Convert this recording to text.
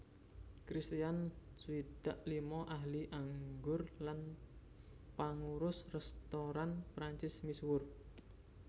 Kristian swidak lima ahli anggur lan pangurus rèstoran Prancis misuwur